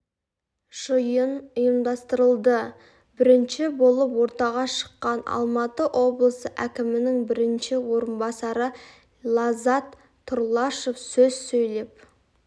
жиын ұйымдастырылды бірінші болып ортаға шыққан алматы облысы әкімінің бірінші орынбасары лаззат тұрлашов сөз сөйлеп